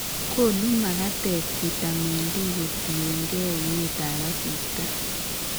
Konu magatet vitamin D kotien gee uet ab asista